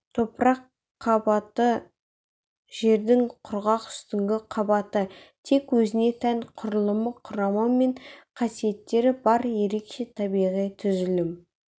топырақ қабаты жердің құрғақ үстіңгі қабаты тек өзіне тән құрылымы құрамы мен қасиеттері бар ерекше табиғи түзілім